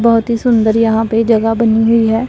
बहोत ही सुंदर यहां पे जगह बनी हुई है।